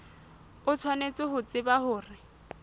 o tshwanetse ho tseba hore